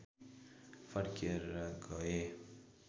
फर्केर गए